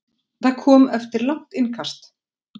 Það kom eftir langt innkast.